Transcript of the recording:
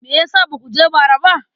Me ya sa ba ku je ba bara?